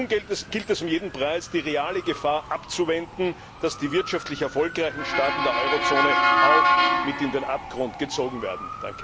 Nun gilt es um jeden Preis, die reale Gefahr abzuwenden, dass die wirtschaftlich erfolgreichen Staaten der Eurozone auch mit in den Abgrund gezogen werden.